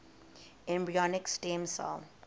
embryonic stem cell